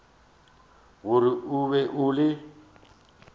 gore o be o le